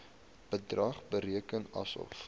bedrag bereken asof